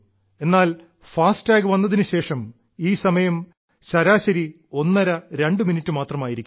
എന്നാൽ എഅടഠമഴ വന്നതിനുശേഷം ഈ സമയം ശരാശരി ഒന്നരരണ്ടു മിനിറ്റ് മാത്രമായിരിക്കുന്നു